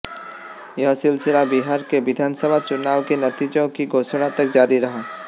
यह सिलसिला बिहार के विधानसभा चुनाव के नतीजों की घोषणा तक जारी रहा